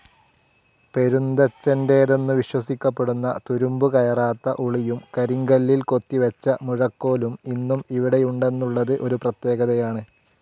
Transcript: പെരുന്തച്ഛൻ്റേതെന്നു വിശ്വസിക്കപ്പെടുന്ന തുരുമ്പുകയറാത്ത ഉളിയും കരിങ്കല്ലിൽ കൊത്തിവെച്ച മുഴക്കോലും ഇന്നും ഇവിടെയുണ്ടെന്നുള്ളത് ഒരു പ്രത്യേകതയാണ്.